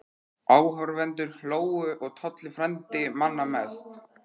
Áhorfendur hlógu og Tolli frændi manna mest.